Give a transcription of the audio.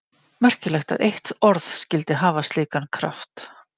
Merkilegt að eitt orð skyldi hafa slíkan kraft.